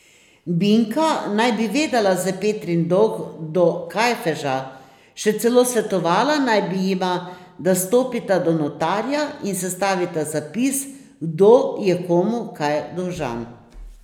Binka naj bi vedela za Petrin dolg do Kajfeža, še celo svetovala naj bi jima, da stopita do notarja in sestavita zapis, kdo je komu kaj dolžan.